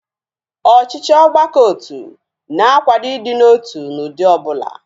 Ọchịchị ọgbakọotu na-akwado ịdị n'otu n'ụdị ọbụla